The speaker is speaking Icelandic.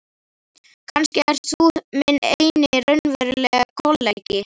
Kannski ert þú minn eini raunverulegi kollega.